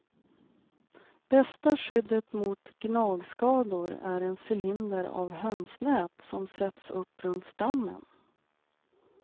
Bästa skyddet mot gnagskador är en cylinder av hönsnät som sätts upp runt stammen.